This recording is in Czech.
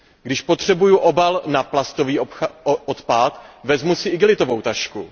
Když potřebuju obal na plastový odpad, vezmu si igelitovou tašku.